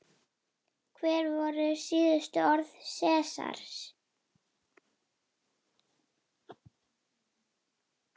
Hver voru síðustu orð Sesars?